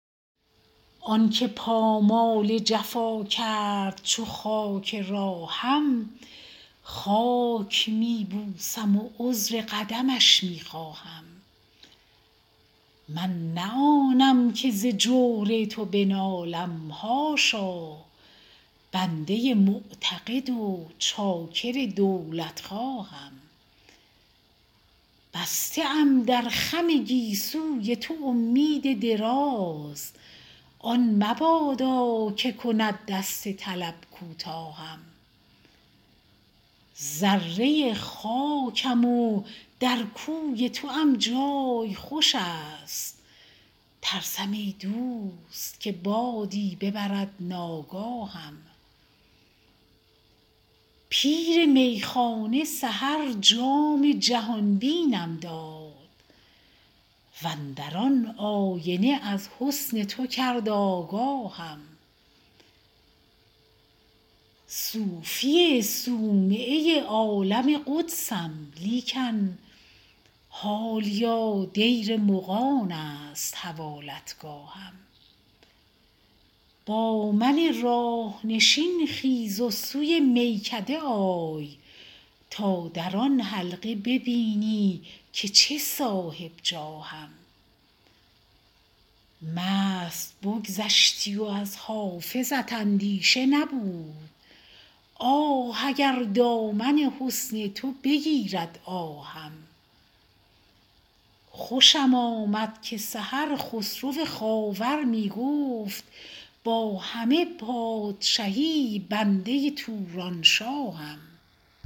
آن که پامال جفا کرد چو خاک راهم خاک می بوسم و عذر قدمش می خواهم من نه آنم که ز جور تو بنالم حاشا بنده معتقد و چاکر دولتخواهم بسته ام در خم گیسوی تو امید دراز آن مبادا که کند دست طلب کوتاهم ذره خاکم و در کوی توام جای خوش است ترسم ای دوست که بادی ببرد ناگاهم پیر میخانه سحر جام جهان بینم داد و اندر آن آینه از حسن تو کرد آگاهم صوفی صومعه عالم قدسم لیکن حالیا دیر مغان است حوالتگاهم با من راه نشین خیز و سوی میکده آی تا در آن حلقه ببینی که چه صاحب جاهم مست بگذشتی و از حافظت اندیشه نبود آه اگر دامن حسن تو بگیرد آهم خوشم آمد که سحر خسرو خاور می گفت با همه پادشهی بنده تورانشاهم